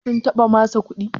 sum taɓa masa kuɗi?